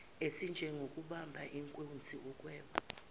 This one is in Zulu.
ezinjengokubamba inkunzi ukweba